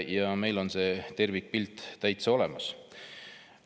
Ja meil on see tervikpilt täitsa olemas.